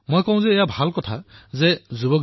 মই কওঁ যে এয়াতো ভালৰেই কথা